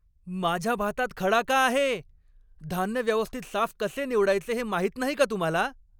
माझ्या भातात खडा का आहे? धान्य व्यवस्थित साफ कसे निवडायचे हे माहीत नाही का तुम्हाला?